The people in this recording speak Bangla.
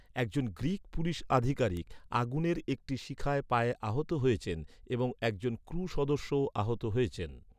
একজন গ্রীক পুলিশ আধিকারিক, আগুনের একটি শিখায় পায়ে আহত হয়েছেন এবং একজন ক্রু সদস্যও আহত হয়েছেন।